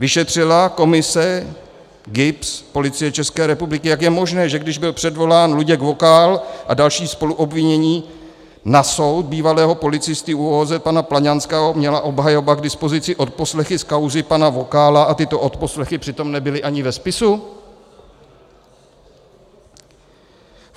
Vyšetřila komise, GIBS, Policie České republiky, jak je možné, že když byl předvolán Luděk Vokál a další spoluobvinění na soud bývalého policisty ÚOOZ pana Plaňanského, měla obhajoba k dispozici odposlechy z kauzy pana Vokála a tyto odposlechy přitom nebyly ani ve spisu?